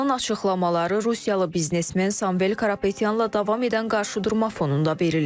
Paşinyanın açıqlamaları rusiyalı biznesmen Samvel Karapetyanla davam edən qarşıdurma fonunda verilib.